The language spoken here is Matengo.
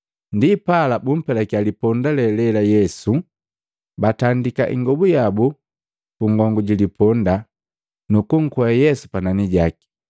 Ndipala bumpelakya liponda lelela Yesu, batandika ingobu yabu pungongu ji liponda, nuku nkwea Yesu panani jaki.